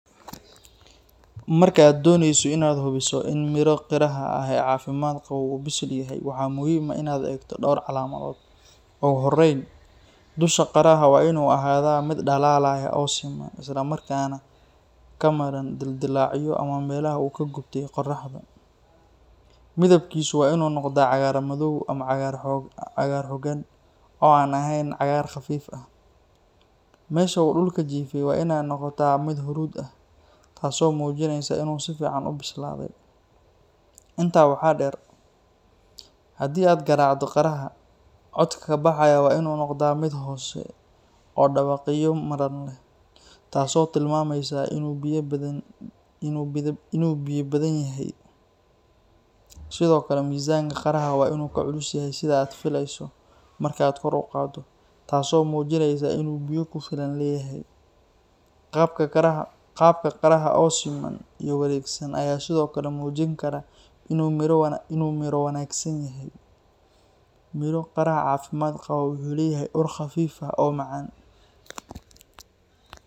Marka aad dooneyso inaad hubiso in miro qaraha ahi caafimaad qabo oo bisil yahay, waxaa muhiim ah inaad eegto dhowr calaamadood. Ugu horreyn, dusha qaraha waa inuu ahaadaa mid dhalaalaya oo siman, isla markaana ka madhan dildillaacyo ama meelaha uu ka gubtay qorraxda. Midabkiisu waa inuu noqdaa cagaar madow ama cagaar xooggan, oo aan ahayn cagaar khafiif ah. Meesha uu dhulka jiifay waa inay noqotaa mid huruud ah, taasoo muujinaysa inuu si fiican u bislaaday. Intaa waxaa dheer, haddii aad garaacdo qaraha codka ka baxaya waa inuu noqdaa mid hoose oo dhawaqyo madhan leh, taas oo tilmaamaysa inuu biyo badan yahay. Sidoo kale, miisaanka qaraha waa inuu ka culus yahay sida aad filayso marka aad kor u qaaddo, taasoo muujinaysa inuu biyo ku filan leeyahay. Qaabka qaraha oo siman iyo wareegsan ayaa sidoo kale muujin kara inuu miro wanaagsan yahay. Miro qaraha caafimaad qaba wuxuu leeyahay ur khafiif ah oo macaan.